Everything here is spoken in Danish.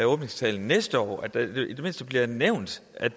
åbningstalen næste år og at det i det mindste bliver nævnt at